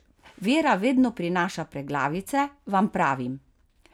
Vera vedno prinaša preglavice, vam pravim!